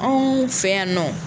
Anw fɛ yan nɔ